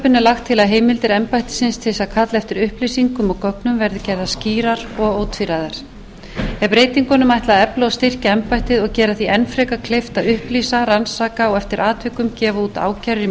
lagt til að heimildir embættisins til þess að kalla eftir upplýsingum og gögnum verði gerðar skýrar og ótvíræðar er breytingunum ætlað að efla og styrkja embættið og gera því enn frekar kleift að upplýsa rannsaka og eftir atvikum gefa út ákærur í